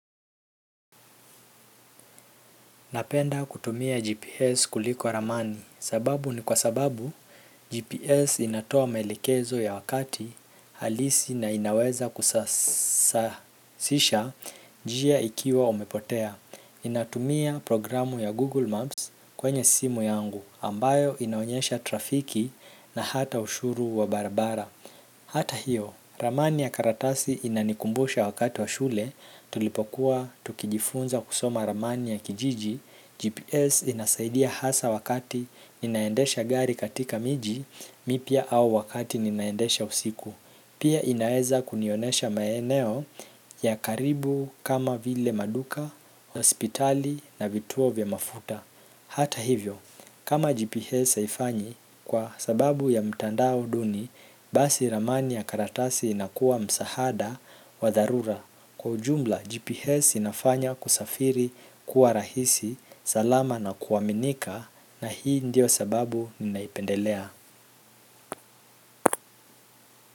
Napenda kutumia GPS kuliko ramani sababu ni kwa sababu GPS inatoa maelekezo ya wakati halisi na inaweza kusasisha njia ukiwa umepotea. Inatumia programu ya Google Maps kwenye simu yangu ambayo inaonyesha trafiki na hata ushuru wa barabara. Hata hiyo, ramani ya karatasi inanikumbusha wakati wa shule tulipokuwa tukijifunza kusoma ramani ya kijiji, GPS inasaidia hasa wakati ninaendesha gari katika miji, mipya au wakati ninaendesha usiku. Pia inaeza kunionesha maeneo ya karibu kama vile maduka, hospitali na vituo vya mafuta. Hata hivyo, kama GPS haifanyi kwa sababu ya mtandao duni, basi ramani ya karatasi inakuwa msahada wa dharura. Kwa ujumla, GPS inafanya kusafiri kuwa rahisi, salama na kuaminika na hii ndio sababu ninaipendelea.